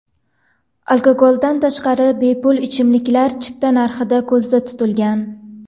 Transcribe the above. Alkogoldan tashqari bepul ichimliklar chipta narxida ko‘zda tutilgan.